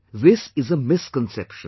This is a misconception